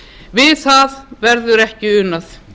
við það verður ekki unað